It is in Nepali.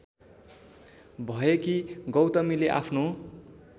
भएकी गौतमीले आफ्नो